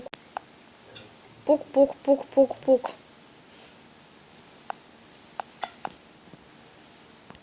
пук пук пук пук пук